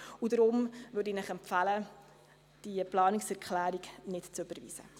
Deshalb empfehle ich Ihnen, diese Planungserklärung nicht zu überweisen.